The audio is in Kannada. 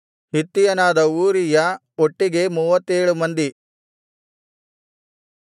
ಹಿತ್ತಿಯನಾದ ಊರೀಯ ಒಟ್ಟಿಗೆ ಮೂವತ್ತೇಳು ಮಂದಿ